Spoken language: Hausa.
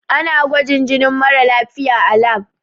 Ana gwajin jinin mara lafiya a lab.